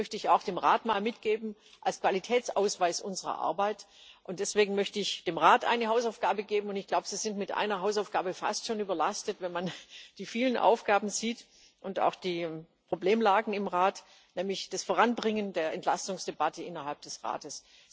Das möchte ich auch mal dem Rat mitgeben als Qualitätsausweis unserer Arbeit. Deswegen möchte ich dem Rat eine Hausaufgabe geben und ich glaube, Sie sind mit einer Hausaufgabe fast schon überlastet, wenn man die vielen Aufgaben sieht und auch die Problemlagen im Rat nämlich das Voranbringen der Entlastungsdebatte innerhalb des Rates.